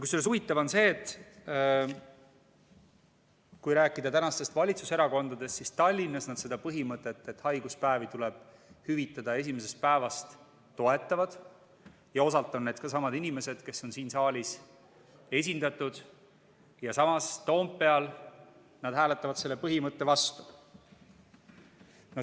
Kusjuures huvitav on see, et kui rääkida tänastest valitsuserakondadest, siis Tallinnas nad seda põhimõtet, et haiguspäevi tuleb hüvitada esimesest päevast, toetavad ja osalt on need ka samad inimesed, kes on siin saalis esindatud, ja samas Toompeal nad hääletavad selle põhimõtte vastu.